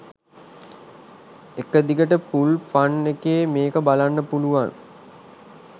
එක දිගට full fun එකේ මේක බලන්න පුළුවන්.